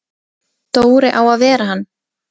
Dóri á að vera hann!